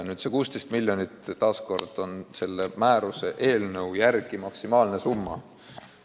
Nüüd, see 16 miljonit on asjaomase määruse eelnõu järgi maksimaalne summa.